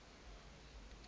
vowel letters